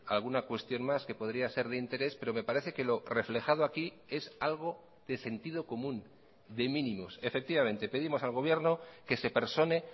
alguna cuestión más que podría ser de interés pero me parece que lo reflejado aquí es algo de sentido común de mínimos efectivamente pedimos al gobierno que se persone